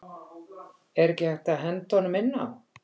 Er ekki hægt að henda honum inn á?